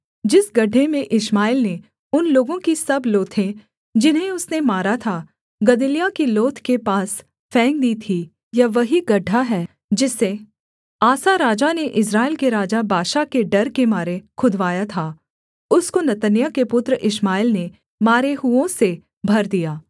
जिस गड्ढे में इश्माएल ने उन लोगों की सब लोथें जिन्हें उसने मारा था गदल्याह की लोथ के पास फेंक दी थी यह वही गड्ढा है जिसे आसा राजा ने इस्राएल के राजा बाशा के डर के मारे खुदवाया था उसको नतन्याह के पुत्र इश्माएल ने मारे हुओं से भर दिया